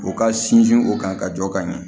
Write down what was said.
U ka sinsin o kan ka jɔ ka ɲɛ